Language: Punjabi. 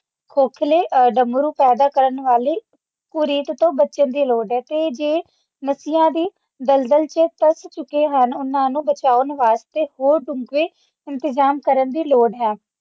ਖੋਖਲੇ ਡੰਮਰੂ ਪੈਦਾ ਕਰਨ ਵਾਲੀ ਹੁਰੀਅਤ ਤੋਂ ਬਚਣ ਦੀ ਲੋੜ ਹੈ ਤੇ ਜੇ ਨਸ਼ਿਆਂ ਦੀ ਦਲਦਲ ਵਿੱਚ ਫਸ ਚੁੱਕੇ ਹਨ ਉਨ੍ਹਾਂ ਨੂੰ ਬਚਾਉਣ ਵਾਸਤੇ ਹੋ ਸਕੇ